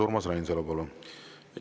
Urmas Reinsalu, palun!